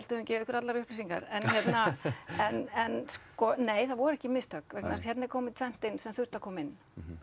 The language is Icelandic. hefðum gefið ykkur allar upplýsingar en hérna en en sko nei það voru ekki mistök vegna þess að hérna er komið tvennt inn sem þurfti að koma inn